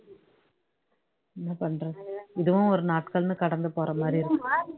என்ன பண்றது இதுவும் ஒரு நாட்கள்னு கடந்து போற இருக்கு